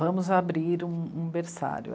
Vamos abrir um, um berçário.